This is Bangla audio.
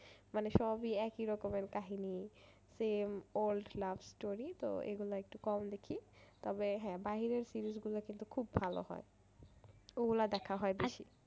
মানে সবই একই রকমের কাহিনী same old love story তো এইগুলো একটু কম দেখি তবে হ্যাঁ বাইরের series গুলো কিন্তু খুব ভালো হয় ওগুলো দেখা হয়